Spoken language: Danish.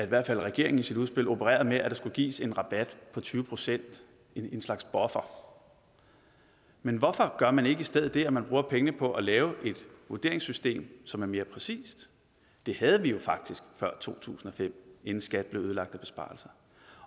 hvert fald regeringen i sit udspil opererer med at give en rabat på tyve procent i en slags buffer men hvorfor gør man ikke i stedet det at man bruger pengene på at lave et vurderingssystem som er mere præcist det havde vi jo faktisk før to tusind og fem inden skat blev ødelagt af besparelser